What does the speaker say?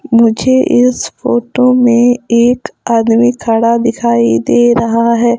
मुझे इस फोटो मे एक आदमी खड़ा दिखाई दे रहा है।